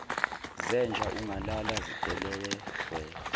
zenja ungalala velewena